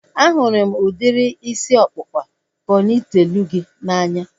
A hụrụ m udiri isi ọkpụkpa pọnitelu gị n'anya